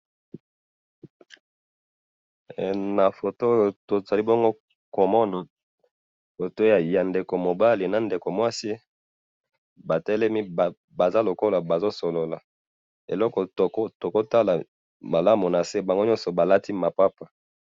photo oyo to zali bongo ko mana photo ya ndeko mobala na ndeko mwasi batelemi baza lokola bazo solola eloko toko tala malamu na se bango nyoso ba lati mapapa